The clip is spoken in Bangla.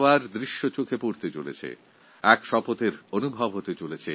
এক প্রকারে এই উৎসব স্বপ্নের প্লাবন হয়ে দেখা দেবে এবং এক সংকল্পের অনুভূতি হবে